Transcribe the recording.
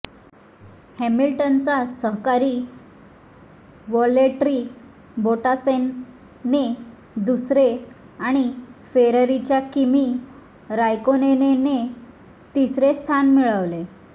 हॅमिल्टनचा सहकारी व्हाल्टेरी बोटासने दुसरे आणि फेरारीच्या किमी रायकोनेनने तिसरे स्थान मिळविले